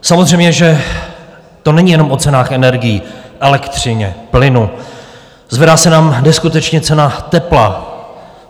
Samozřejmě že to není jenom o cenách energií, elektřině, plynu, zvedá se nám neskutečně cena tepla.